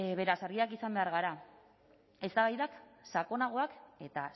beraz argiak izan behar gara eztabaidak sakonagoak eta